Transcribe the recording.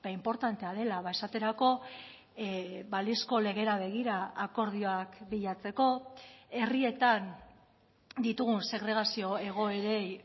inportantea dela esaterako balizko legera begira akordioak bilatzeko herrietan ditugun segregazio egoerei